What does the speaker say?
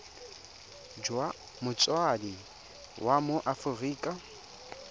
jwa motsadi wa mo aforika